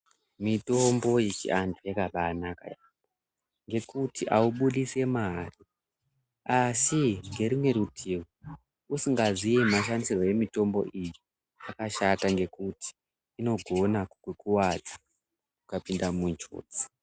Mitombo yechi antu yakabai naka ngekuti awu budisi mari asi ngerimwe rutivi usinga zii ma shandisirwo emitombo iyi zvakashata ngekuti inogona ku kuwadza ukapinda mu njodzi.